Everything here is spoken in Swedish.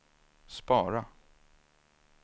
spara